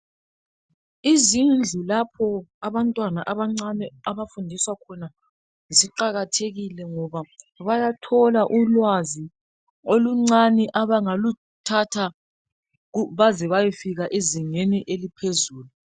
Izindlu lapho abantwana abancane abafundiswa khona ziqakathekile ngoba bayathola ulwazi oluncane abangaluthatha baze bayefika ezingeni eliphezulu.